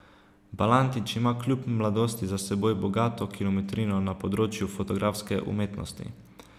Balantič ima kljub mladosti za seboj bogato kilometrino na področju fotografske umetnosti.